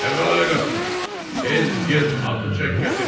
"Kərbəlayı Qasım, tez get atı çək gətir.